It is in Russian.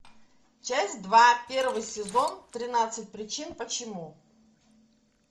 часть два первый сезон тринадцать причин почему